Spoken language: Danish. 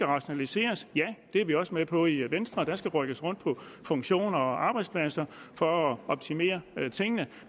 rationalisering det er vi også med på i venstre der skal rykkes rundt på funktioner og arbejdspladser for at optimere tingene